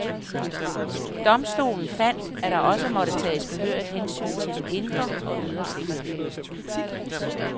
Domstolen fandt, at der også måtte tages behørigt hensyn til den indre og ydre sikkerhed.